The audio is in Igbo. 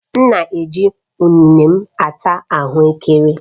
M na-eji ụnene m ata ahuekere